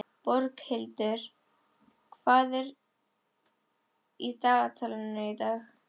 Boghildur, hvað er í dagatalinu í dag?